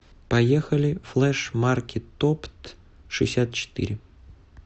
поехали флэшмаркетоптшестьдесятчетыре